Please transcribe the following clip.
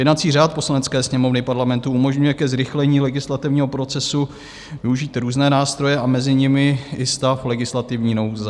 Jednací řád Poslanecké sněmovny Parlamentu umožňuje ke zrychlení legislativního procesu využít různé nástroje a mezi nimi i stav legislativní nouze.